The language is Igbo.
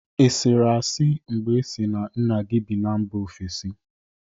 Ị sịrị asị mgbe ị sị na nna gi bi na mba ofesi?